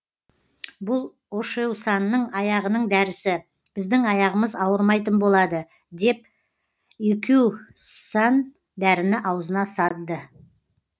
бұл ошеусанның аяғының дәрісі біздің аяғымыз ауырмайтын болады деп икююсан дәріні ауызына садды